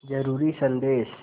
ज़रूरी संदेश